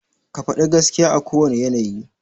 Ka faɗi gaskiya a kowane yanayi.